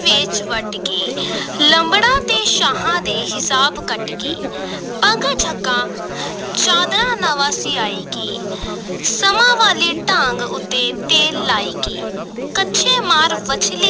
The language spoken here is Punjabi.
ਵੇਚ ਵੱਟ ਕੇ ਲੰਬੜਾਂ ਤੇ ਸ਼ਾਹਾਂ ਦੇ ਹਿਸਾਬ ਕੱਟ ਕੇ ਪੱਗ ਝੱਗਾ ਚਾਦਰਾ ਨਵਾਂ ਸਿਵਾਇ ਕੇ ਸੰਮਾਂ ਵਾਲੀ ਡਾਂਗ ਉੱਤੇ ਤੇਲ ਲਾਇ ਕੇ, ਕੱਛੇ ਮਾਰ ਵੰਝਲੀ